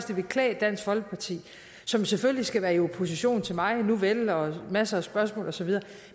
det ville klæde dansk folkeparti som selvfølgelig skal være i opposition til mig nuvel og have masser af spørgsmål og så videre